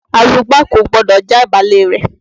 Arugbá kò gbọdọ̀ já ìbálé rẹ̀.